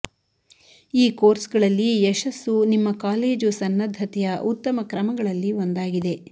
ಈ ಕೋರ್ಸ್ಗಳಲ್ಲಿ ಯಶಸ್ಸು ನಿಮ್ಮ ಕಾಲೇಜು ಸನ್ನದ್ಧತೆಯ ಉತ್ತಮ ಕ್ರಮಗಳಲ್ಲಿ ಒಂದಾಗಿದೆ